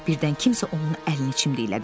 Birdən kimsə onun əlini çimdiklədi.